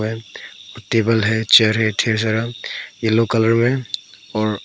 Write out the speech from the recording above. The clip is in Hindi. टेबल है चेयर है ढेर सारा येलो कलर में और--